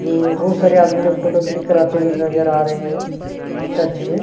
जो बहुत सारे आदमी लोग फोटो क्लिक कराते हुए नजर आ रहै है चर्च में --